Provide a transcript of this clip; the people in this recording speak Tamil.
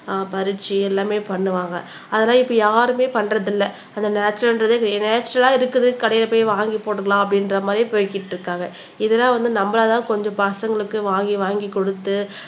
ஆஹ் பறிச்சு எல்லாமே பண்ணுவாங்க அதனால இப்ப யாருமே பண்றது இல்லை அந்த நேச்சரல்ன்றதே நேச்சரல்லா இருக்குது கடையில போய் வாங்கிப் போட்டுக்கலாம் அப்படின்ற மாறி போய்கிட்டு இருக்காங்க இதெல்லாம் வந்து நம்மளாதான் கொஞ்சம் பசங்களுக்கு வாங்கி வாங்கி குடுத்து